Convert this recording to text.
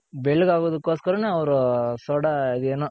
ಬೆಳ್ಳಗ್ ಆಗೋದಕೊಸ್ಕರ ನೆ ಅವ್ರ್ soda